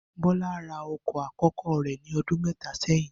Bó̩lá ra o̩kò̩ akó̩kó̩ rè̩ ní o̩dún mé̩ta sé̩yìn